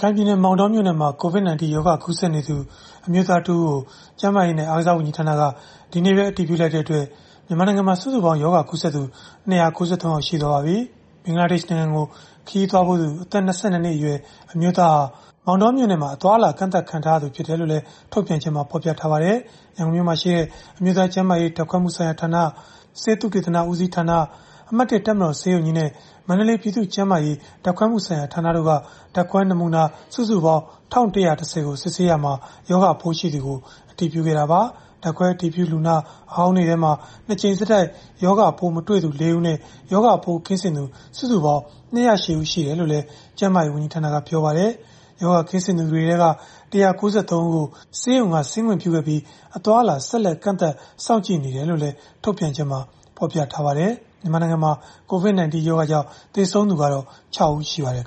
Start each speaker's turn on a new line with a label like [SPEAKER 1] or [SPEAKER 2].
[SPEAKER 1] ခိုင်ပြည်နယ် မောင်တောမြို့နယ်မှာ COVID-19 ရောဂါကူးစက်နေသူ အမျိုးသားတဦးကို ကျန်းမာရေးနဲ့ အားကစားဝန်ကြီးဌာနက ဒီနေ့ပဲ အတည်ပြုလိုက်တဲ့အတွက် မြန်မာနိုင်ငံမှာ စုစုပေါင်းရောဂါကူးစက်သူ ၂၉၃ ယောက် ရှိသွားပါပြီ။ ဘင်္ဂလားဒေ့ရှ်နိုင်ငံကို ခရီးသွားဖူးသူ အသက် ၂၂ နှစ်အရွယ် အမျိုးသားဟာ မောင်တောမြို့မှာ အသွားအလာ ကန့်သတ်ခံထားရသူဖြစ်တယ်လို့လည်း ထုတ်ပြန်ချက်မှာ ဖော်ပြထားပါတယ်။ ရန်ကုန်မြို့မှာရှိတဲ့ အမျိုးသားကျန်းမာရေး ဓာတ်ခွဲမှုဆိုင်ရာဌာန၊ ဆေးသုတေသနဦးစီးဌာန၊ အမှတ် (၁) တပ်မတော်ဆေးရုံကြီးနဲ့ မန္တလေး ပြည်သူ့ကျန်းမာရေးဓာတ်ခွဲမှုဆိုင်ရာဌာနတို့က ဓာတ်ခွဲနမူနာ စုစုပေါင်း ၁,၁၁၀ ကို စစ်ဆေးခဲ့ရာမှာ ရောဂါပိုးရှိသူကို အတည်ပြုခဲ့တာပါ။ ဓာတ်ခွဲအတည်ပြု လူနာဟောင်းတွေထဲမှာတော့ ၂ ကြိမ် ဆက်တိုက် ရောဂါပိုးမတွေ့သူ ၄ ဦးနဲ့ ရောဂါပိုးကင်းစင်သူ စုစုပေါင်း ၂၀၈ ဦးရှိတယ်လို့လည်း ကျန်းမာရေးဝန်ကြီးဌာနက ပြောပါတယ်။ ရောဂါကင်းစင်သူတွေထဲက ၁၉၃ ဦးကို ဆေးရုံက ဆင်းခွင့်ပြုခဲ့ပြီး အသွားအလာ ဆက်လက်ကန့်သတ် စောင့်ကြည့်နေတယ်လို့လည်း ထုတ်ပြန်ချက်မှာ ဖော်ပြထားပါတယ်။ မြန်မာနိုင်ငံမှာ COVID-19 ရောဂါကြောင့် သေဆုံးသူကတော့ ၆ ဦး ရှိပါတယ်